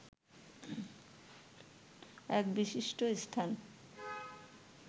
এক বিশিষ্ট স্থান